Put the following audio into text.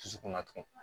Dusukun na tugun